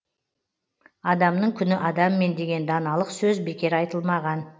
адамның күні адаммен деген даналық сөз бекер айтылмаған